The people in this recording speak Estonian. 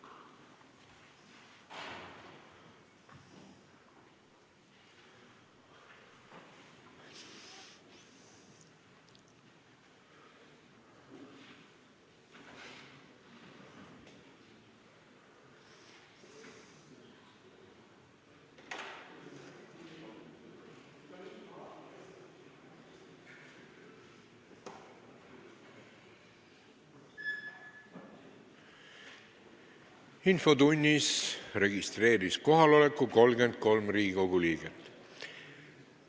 Kohaloleku kontroll Infotunnis kohaloleku registreeris 33 Riigikogu liiget.